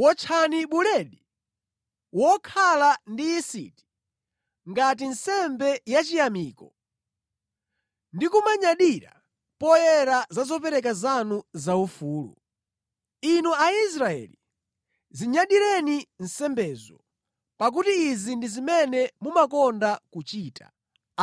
Wotchani buledi wokhala ndi yisiti ngati nsembe yachiyamiko ndi kumanyadira poyera za zopereka zanu zaufulu. Inu Aisraeli, zinyadireni nsembezo, pakuti izi ndi zimene mumakonda kuchita,”